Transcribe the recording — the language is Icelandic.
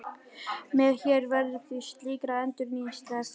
Hér verður því slíkri endurnýjun sleppt.